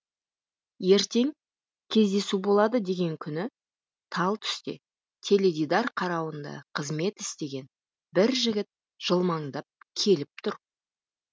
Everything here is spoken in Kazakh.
ертең кездесу болады деген күні тал түсте теледидар қарауында қызмет істеген бір жігіт жылмаңдап келіп тұр